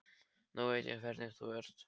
Nú veit ég hvernig þú ert!